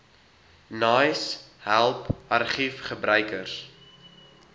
naais help argiefgebruikers